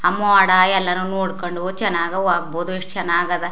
ಅಮ್ಮುವಾಡ್ ಎಲ್ಲಾನು ನೋಡಕೊಂಡು ಚನ್ನಾಗ್ ಹೋಗಬಹುದು ಎಷ್ಟ ಚನ್ನಾಗದ.